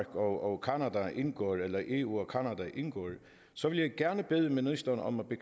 og canada indgår eller eu og canada indgår så vil jeg gerne bede ministeren om at